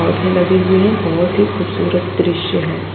पौधे लगे हुए हैं बहुत ही खूबसूरत दृश्य है।